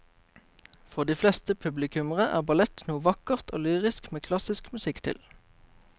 For de fleste publikummere er ballett noe vakkert og lyrisk med klassisk musikk til.